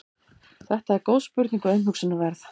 þetta er góð spurning og umhugsunarverð